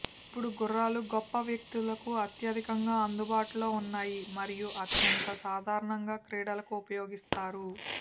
ఇప్పుడు గుర్రాలు గొప్ప వ్యక్తులకు అత్యధికంగా అందుబాటులో ఉన్నాయి మరియు అత్యంత సాధారణంగా క్రీడలకు ఉపయోగిస్తారు